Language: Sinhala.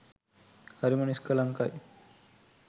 හරිම නිස්කලංකයි.